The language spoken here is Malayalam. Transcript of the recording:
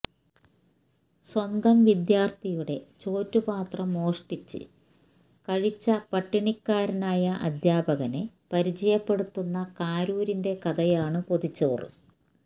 സ്വന്തം വിദ്യാര്ഥിയുടെ ചോറ്റ് പാത്രം മോഷ്ടിച്ച് കഴിച്ച പട്ടിണിക്കാരനായ അധ്യാപകനെ പരിചയപ്പെടുത്തുന്ന കാരൂരിന്റെ കഥയാണ് പൊതിച്ചോറ്